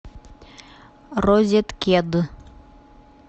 розеткед